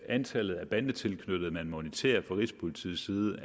antallet af bandetilknyttede som moniteres fra rigspolitiets side